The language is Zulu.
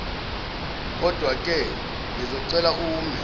kodwake ngizocela ume